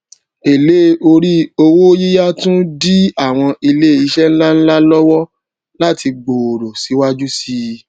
èlé orí owó yíya tun di àwọn ilé isẹ ńláńlá lowo lati gbòòrò síwájú síi